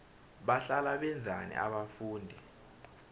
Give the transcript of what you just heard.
bahlala benzani abafundi